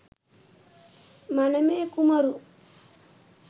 මනමේ කුමරු